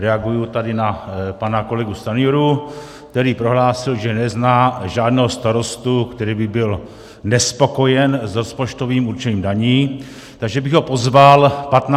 Reaguji tady na pana kolegu Stanjuru, který prohlásil, že nezná žádného starostu, který by byl nespokojen s rozpočtovým určením daní, takže bych ho pozval 15. června.